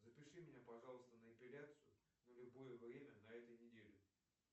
запиши меня пожалуйста на эпиляцию на любое время на этой неделе